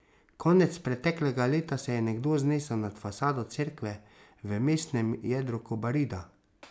Konec preteklega leta se je nekdo znesel nad fasado cerkve v mestnem jedru Kobarida.